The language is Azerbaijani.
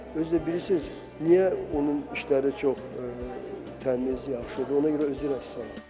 Özü də bilirsiz, niyə onun işləri çox təmiz, yaxşıdır, ona görə özü rəssamdır.